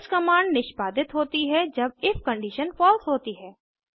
else command निष्पादित होती है जब इफ कंडिशन फलसे होती है